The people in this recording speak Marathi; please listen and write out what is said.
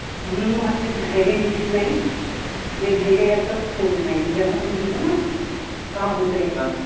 म्हणून मग असेच घाईघाई येत नाही आणि घाईघाई असा होत नाही म्हणजे आपण असा म्हणतो ना का होतंय